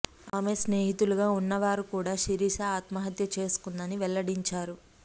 ఆమె స్నేహితులుగా ఉన్న వారు కూడా శిరీష ఆత్మహత్య చేసుకుందని వెల్లడించారు